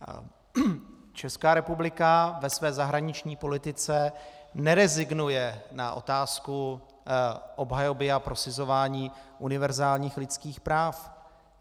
Česká republika ve své zahraniční politice nerezignuje na otázku obhajoby a prosazování univerzálních lidských práv.